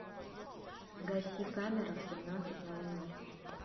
гаси камера в семнадцать ноль ноль